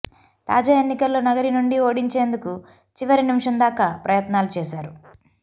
తాజా ఎన్నికల్లో నగరి నుండి ఓడించేందుకు చివరి నిమిషం దాకా ప్రయత్నాలు చేసారు